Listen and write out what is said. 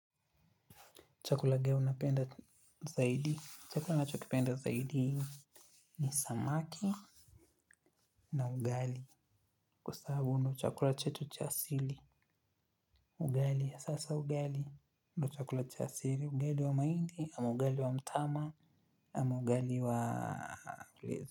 Chakula gana unapenda zaidi. Chakula nacho kipenda zaidi ni samaki na ugali. Kwa sababu ni chakula chetu cha asili. Ugali ya sasa ugali. Ndio chakula cha asili. Ugali wa mahindi, ama ugali wa mtama, ama ugali wa.